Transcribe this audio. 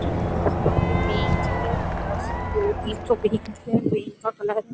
यहाँ पे बेंच है बहोत से दो तीन ठो बेंच है बेंच का कलर --